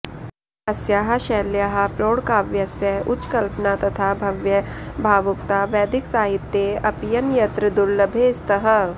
अस्याः शैल्याः प्रौढकाव्यस्य उच्चकल्पना तथा भव्या भावुकता वैदिकसाहित्ये अप्यन्यत्र दुर्लभे स्तः